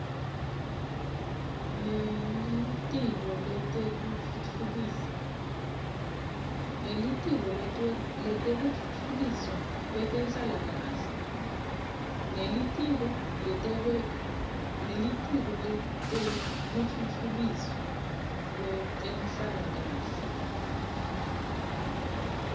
nelitiko letekutfutfukiswa kwetenhlalakahle